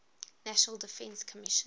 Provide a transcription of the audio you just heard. national defense commission